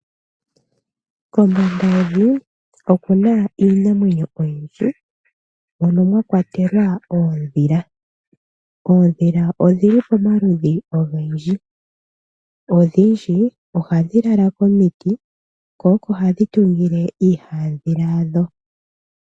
Kombanda yevi okuna iinamwenyo oyindji mono mwakwatelwa oodhila. Oodhila odhili pomaludhi ogendji. Odhindji ohadhi lala komiti ko oko hadhi tungile iihamudhila yadho.